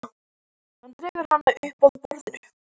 Hann dregur hana upp að borðinu.